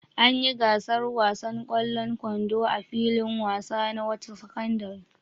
An yi gasar wasan ƙwallon kwando a filin wasa na wata sakandare.